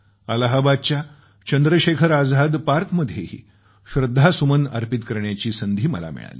अलाहाबादच्या चंद्रशेखर आझाद पार्कमध्येही श्रद्धासुमन अर्पित करण्याची संधी मला मिळाली